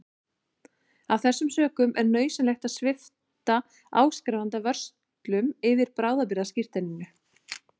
Af þessum sökum er nauðsynlegt að svipta áskrifanda vörslum yfir bráðabirgðaskírteininu.